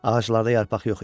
Ağaclarda yarpaq yox idi.